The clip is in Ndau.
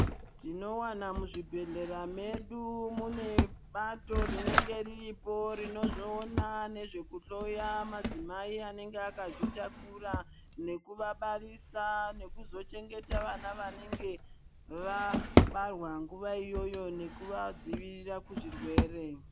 Tinowana muzvibhedhlera medu mune bato rinenge riripo rinozoona nezvekuhloya madzimai anenge akazvitakura nekuvabarisa. Nekuzochengeta vana vanenge vabarwa nguva iyoyo nekuvadzivirira kuzvirwere.